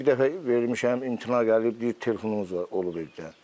Bir dəfə vermişəm, imtina gəlib, deyir telefonunuz olub evdə.